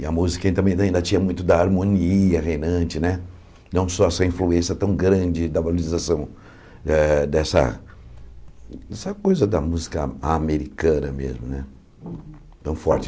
E a música ainda tinha muito da harmonia reinante né, não só essa influência tão grande da valorização eh dessa dessa coisa da música americana mesmo, tão forte.